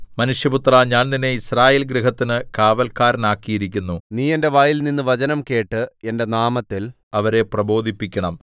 മനുഷ്യപുത്രാ ഞാൻ നിന്നെ യിസ്രായേൽഗൃഹത്തിന് കാവല്ക്കാരനാക്കിയിരിക്കുന്നു നീ എന്റെ വായിൽനിന്ന് വചനം കേട്ട് എന്റെ നാമത്തിൽ അവരെ പ്രബോധിപ്പിക്കണം